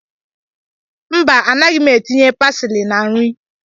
Mba, anaghị m etinye pasili na nri